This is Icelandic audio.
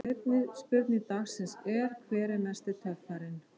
Seinni spurning dagsins er: Hver er mesti töffarinn?